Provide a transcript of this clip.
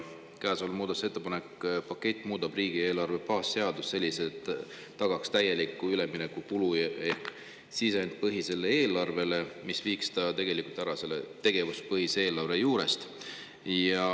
Käesolev muudatusettepanekute pakett muudab riigieelarve baasseadust selliselt, et tagaks täieliku ülemineku kulu- ehk sisendipõhisele eelarvele ja tegelikult tegevuspõhise eelarve põhimõttest.